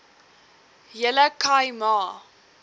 hele khai ma